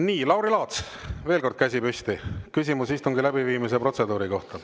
Nii, Lauri Laats, veel kord käsi püsti, küsimus istungi läbiviimise protseduuri kohta.